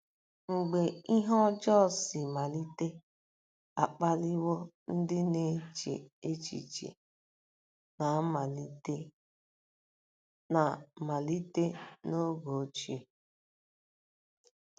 MGBE ihe ọjọọ si malite akpaliwo ndị na-eche echiche na malite n'oge ochie.